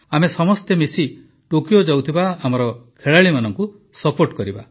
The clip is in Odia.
ଆମେ ସମସ୍ତେ ମିଶି ଟୋକିଓ ଯାଉଥିବା ଆମ ଖେଳାଳିମାନଙ୍କୁ ସପୋର୍ଟ କରିବା